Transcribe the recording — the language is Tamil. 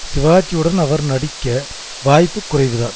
சிவாஜியுடன் அவர் நடிக்க வாய்ப்பு குறைவுதான்